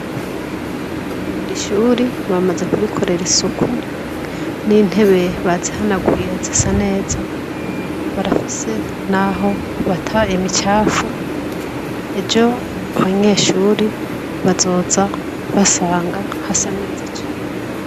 Iri shuri bamaze kurikorera isuku n'intebe bazihanaguye zisa neza. Barafise n'aho bata imicafu ejo abanyeshuri bazoza basanga hasa neza cane.